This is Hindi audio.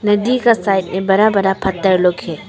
नदी का साइड में बड़ा बड़ा पत्थर लोग है।